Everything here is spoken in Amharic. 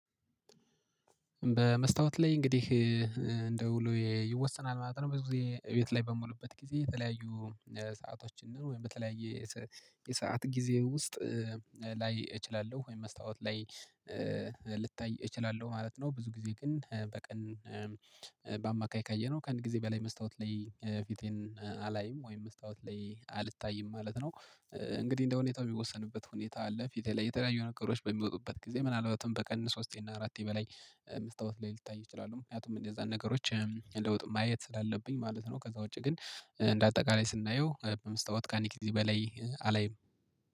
በመስታወት ላይ እንግዲህ እንደ ውሎ ይወሰናል ማለት ነው። ብዙ ጊዜ ቤት ላይ በምልበት ጊዜ የተለያዩ ሰአቶችን ነው ወይም በተለያየ የሰዓት ጊዜ ውስጥ ላይ እችላለሁ። ወይም መስታወት ላይ ልታይ እችላለሁ ማለት ነው። ብዙ ጊዜ ግን በቀን በአማካይ ካየነው ከአንድ ጊዜ በላይ መስታወት ላይ ፊቴን አላይም። ወይም መስታወት ላይ አልታይም ማለት ነው። እንግዲህ እንደ ሁኔታው የሚወሰንበት ሁኔታ አለ። ፊቴ ላይ የተለያዩ ነገሮች በሚወጡበት ጊዜ ምናልባትም በቀን ሶስቴ እና አራቴ በላይ መስታወት ላይ ልታይ እችላለሁ። ምክንያቱም እነዛን ነገሮች ለውጥ ማየት ስላለብኝ ማለት ነው። ከዛ ውጪ ግን እንደ አጠቃላይ ስናየው በመስታወት ካንድ ጊዜ እዚህ በላይ አላይም።